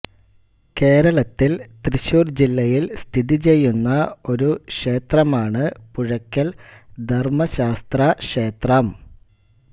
കേരളത്തിൽ തൃശ്ശൂർ ജില്ലയിൽ സ്ഥിതിചെയ്യുന്ന ഒരു ക്ഷേത്രമാണ് പുഴയ്ക്കൽ ധർമ്മശാസ്താക്ഷേത്രം